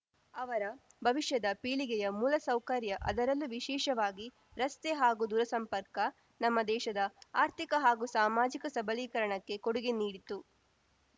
ಅವರ ಭವಿಷ್ಯದ ಪೀಳಿಗೆಯ ಮೂಲಸೌಕರ್ಯ ಅದರಲ್ಲೂ ವಿಶೇಷವಾಗಿ ರಸ್ತೆ ಹಾಗೂ ದೂರಸಂಪರ್ಕ ನಮ್ಮ ದೇಶದ ಆರ್ಥಿಕ ಹಾಗೂ ಸಾಮಾಜಿಕ ಸಬಲೀಕರಣಕ್ಕೆ ಕೊಡುಗೆ ನೀಡಿತು